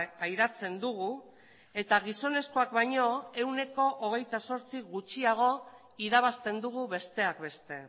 pairatzen dugu eta gizonezkoak baino ehuneko hogeita zortzi gutxiago irabazten dugu besteak beste